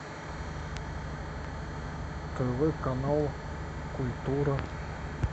тв канал культура